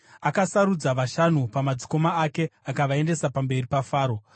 Akasarudza vashanu pamadzikoma ake akavaendesa pamberi paFaro.